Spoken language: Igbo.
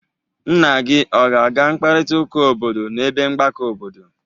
Nna gi ọ ga-aga mkparịtaụka obodo n'ebe mgbakọ obodo